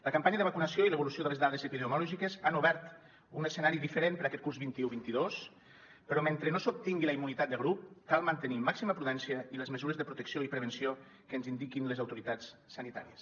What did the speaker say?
la campanya de vacunació i l’evolució de les dades epidemiològiques han obert un escenari diferent per a aquest curs vint un vint dos però mentre no s’obtingui la immunitat de grup cal mantenir màxima prudència i les mesures de protecció i prevenció que ens indiquin les autoritats sanitàries